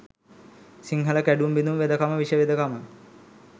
සිංහල කැඩුම් බිඳුම් වෙදකම විෂ වෙදකම